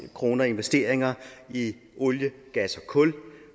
kroner i investeringer i olie gas og kul